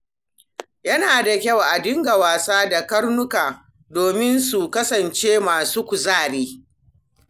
Yana da kyau a dinga wasa da karnuka domin su kasance masu kuzari.